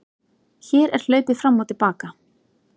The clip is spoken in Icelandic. Hér er hlaupið fram og til baka.